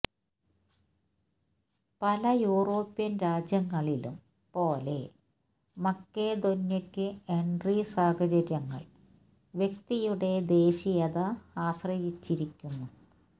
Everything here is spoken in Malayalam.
പല യൂറോപ്യൻ രാജ്യങ്ങളിലും പോലെ മക്കെദോന്യെക്കു എൻട്രി സാഹചര്യങ്ങൾ വ്യക്തിയുടെ ദേശീയത ആശ്രയിച്ചിരിക്കുന്നു